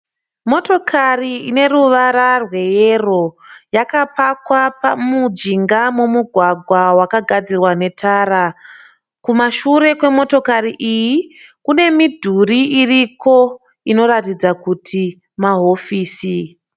Motokari ine ruvara rweyero yakapakwa mujinga memugwagwa wakagadzirwa netara. Kumashure kwemotokari iyi kune midhuri iriko inoratidza kuti mahofisi.